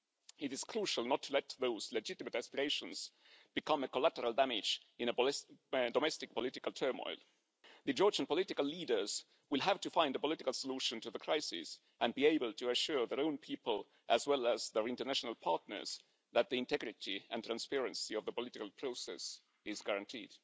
It is crucial not to let those legitimate aspirations become collateral damage in domestic political turmoil. The Georgian political leaders will have to find a political solution to the crisis and be able to assure their own people, as well as their international partners, that the integrity and transparency of the political process is guaranteed.